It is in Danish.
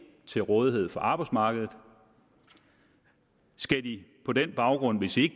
til rådighed for arbejdsmarkedet skal de på den baggrund hvis de